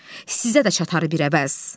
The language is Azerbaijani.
Sizə də çatar bir əvəz.